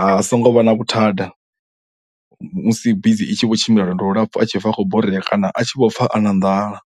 a songo vha na vhuthada musi bisi i tshi kho tshimbila lwendo lu lapfhu a tshi pfha a khou borea kana a tshi vho pfha a na nḓala.